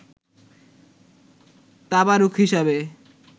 তাবারুক হিসাবে